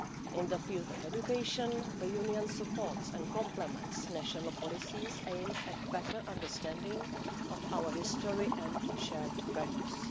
In the field of education, the Union supports and complements national policies aimed at better understanding our history and shared values.